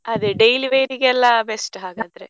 ಅದೇ daily wear ಗೆಲ್ಲ best ಹಾಗಾದ್ರೆ.